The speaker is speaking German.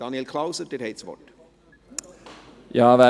Daniel Klauser, Sie haben das Wort.